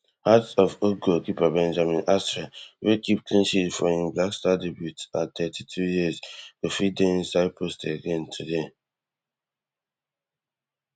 hearts of oak goalkeeper benjamin asare wey keep clean sheet for im blackstars debut at thirty-two years go fit dey inside post again today